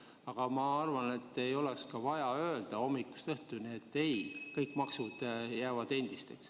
Aga ma arvan, et ei ole vaja hommikust õhtuni rääkida, et kõik maksud jäävad endiseks.